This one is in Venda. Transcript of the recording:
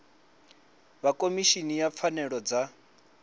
vha khomishini ya pfanelo dza